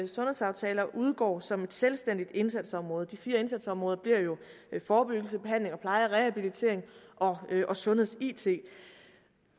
sundhedsaftaler udgår som et selvstændigt indsatsområde de fire indsatsområder bliver jo forebyggelse behandling og pleje rehabilitering og og sundheds it